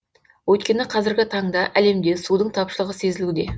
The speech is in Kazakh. өйткені қазіргі таңда әлемде судың тапшылығы сезілуде